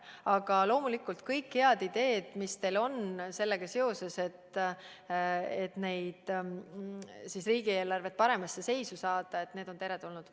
Aga loomulikult kõik head ideed, mis teil on, et riigieelarve paremasse seisu saada, on teretulnud.